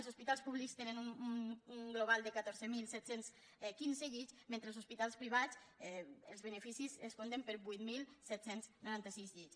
els hospitals públics tenen un global de catorze mil set cents i quinze llits mentre que als hospitals privats els beneficis es compten per vuit mil set cents i noranta sis llits